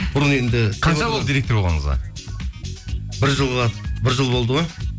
бұрын енді қанша болады директор болғаныңызға бір жыл болды ғой